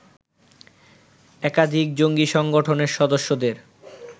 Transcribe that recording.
একাধিক জঙ্গি সংগঠনের সদস্যদের